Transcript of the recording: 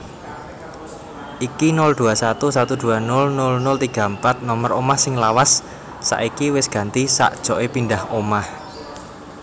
Iki 021 1200034 nomer omah sing lawas saiki wes ganti sakjoke pindah omah